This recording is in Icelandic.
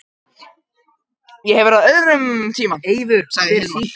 Ég hef verið þar á öðrum tíma, sagði Hilmar.